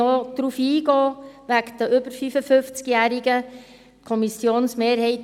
Ich möchte noch auf die über 55-Jährigen eingehen.